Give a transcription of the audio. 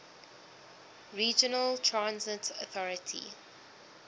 regional transit authority